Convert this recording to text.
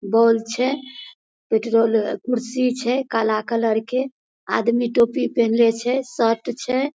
बोल छै पेट्रोल कुर्सी छै काला कलर के आदमी टोपी पिन्हले छै शर्ट छै।